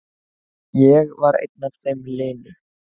Ég var einn af þeim linu.